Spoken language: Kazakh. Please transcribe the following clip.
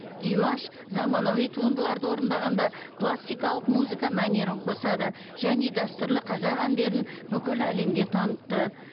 димаш заманауи туындыларды орындағанда классикалық музыка мәнерін қосады және дәстүрлі қазақ әндерін бүкіл әлемге танытты